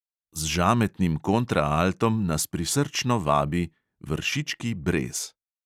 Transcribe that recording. Z žametnim kontraaltom nas prisrčno vabi: vršički brez.